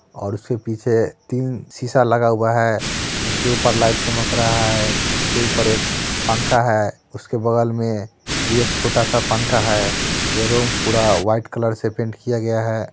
ओर उसके फिर पीछे तीन सीसा लगा हुआ है जिसके ऊपर लाइट चमक रहा है | उसके ऊपर एक पंखा है उसके बगल मे भी एक छोटा स पंखा है | ये रूम पूरा व्हाइट कलर से पेंट किया गया है।